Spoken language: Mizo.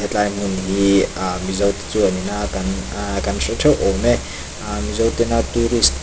tihlai hmun hi a mizo te chuanin a kan a kan hre theuh awm e a mizo tena tourist te--